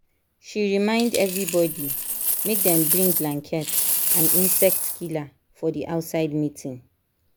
she remind everybody make dem bring blanket and insect killer for the outside meeting